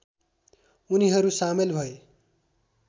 उनीहरू सामेल भए